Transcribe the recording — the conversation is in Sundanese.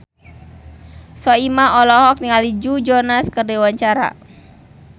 Soimah olohok ningali Joe Jonas keur diwawancara